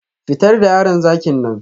Fitar da yaron zakin nan